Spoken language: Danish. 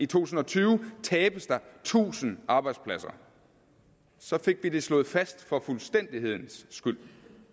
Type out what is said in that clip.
tusind og tyve tabes der tusind arbejdspladser så fik vi det slået fast for fuldstændighedens skyld